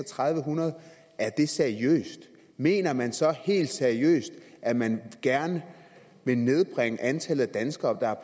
hundrede er det seriøst mener man så helt seriøst at man gerne vil nedbringe antallet af danskere